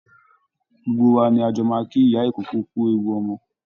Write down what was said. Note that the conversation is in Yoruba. Gbogbo wa ni a jọ máa kí ìyá ìkókó kú ewu ọmọ